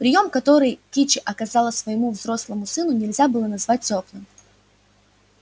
приём который кичи оказала своему взрослому сыну нельзя было назвать тёплым